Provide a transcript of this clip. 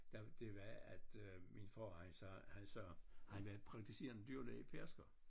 Der det var at øh min far han sagde han sagde han var praktiserende dyrelæge i Pedersker